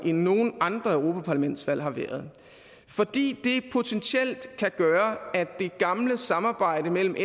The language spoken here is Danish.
end nogen andre europaparlamentsvalg har været fordi det potentielt kan gøre at det gamle samarbejde mellem